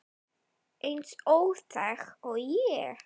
Eins óþæg og ég?